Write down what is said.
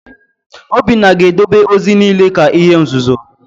Obinna ga-edebe ozi niile ka ihe nzuzo!